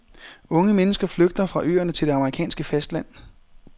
Unge mennesker flygter fra øerne til det amerikanske fastland.